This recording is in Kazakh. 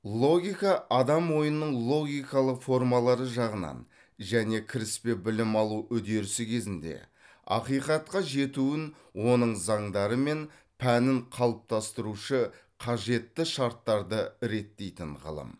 логика адам ойының логикалық формалары жағынан және кіріспе білім алу үдерісі кезінде ақиқатқа жетуін оның заңдары мен пәнін қалыптастырушы қажетті шарттарды реттейтін ғылым